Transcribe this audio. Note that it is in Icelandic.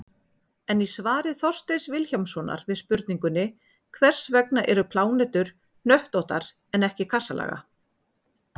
En í svari Þorsteins Vilhjálmssonar við spurningunni: Hvers vegna eru plánetur hnöttóttar en ekki kassalaga?